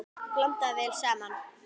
Blandað vel saman.